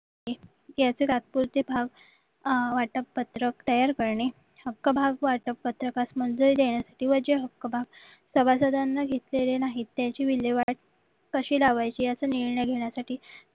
याचे तात्पुरते भाव वाटप पत्रक तयार करणे हक्क भाव वाटप पत्रकास मंजुरी देण्यासाठी व जे हक्क भाव सभासदांना घेतलेले नाहीत त्याची विल्लेवाट कशी लावायची याचा निर्णय घेण्यासाठी